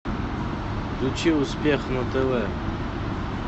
включи успех на тв